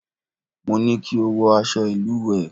Mo ní kí o wọ aṣọ ìlùwẹ̀!